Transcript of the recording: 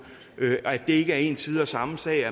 er en side af samme sag